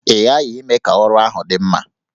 Ị ghaghị ime ka ọrụ ahụ dị mma!